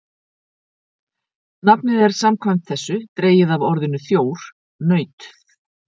Nafnið er samkvæmt þessu dregið af orðinu þjór, naut.